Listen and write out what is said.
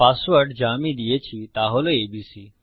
password যা আমি দিয়েছি তা হল এবিসি